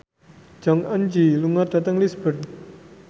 Jong Eun Ji lunga dhateng Lisburn